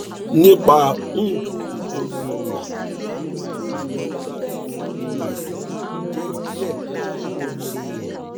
nipa um itan ati apejuwe rẹ irọra ti bronchitis jẹ diẹ um sii